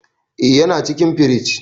Eh yana cikin firij.